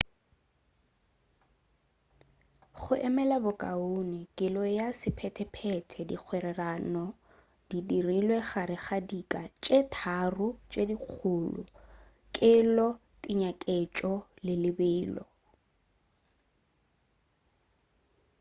go emela bokaone kelo ya sephetephete dikgwerano di dirilwe gare ga dika tše tharo tše dikgolo: 1 kelo 2 tekanyetšo le 3 lebelo